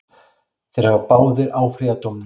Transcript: Þeir hafa báðir áfrýjað dómnum.